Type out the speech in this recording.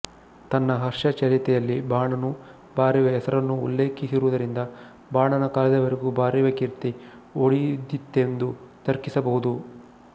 ತನ್ನ ಹರ್ಷಚರಿತೆಯಲ್ಲಿ ಬಾಣನೂ ಭಾರವಿಯ ಹೆಸರನ್ನು ಉಲ್ಲೇಖಿಸಿರುವುದರಿಂದ ಬಾಣನ ಕಾಲದವರೆಗೂ ಭಾರವಿಯ ಕೀರ್ತಿ ಉಳಿದಿತ್ತೆಂದು ತರ್ಕಿಸಬಹುದು